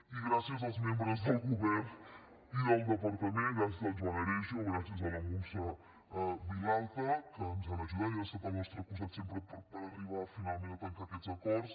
i gràcies als membres del govern i del departament gràcies al joan aregio gràcies a la muntsa vilalta que ens han ajudat i han estat al nostre costat sempre per arribar finalment a tancar aquests acords